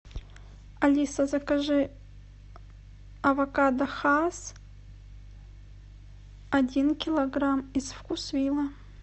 алиса закажи авокадо хасс один килограмм из вкусвилла